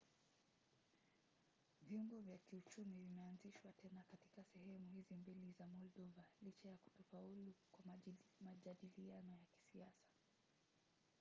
viungo vya kiuchumi vimeanzishwa tena kati ya sehemu hizi mbili za moldova licha ya kutofaulu kwa majadiliano ya kisiasa